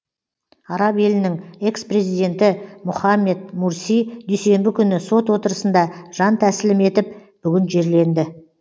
араб елінің экс президенті мұхаммед мурси дүйсенбі күні сот отырысында жан тәсілім етіп бүгін жерленді